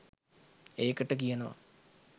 ඒකට කියනවා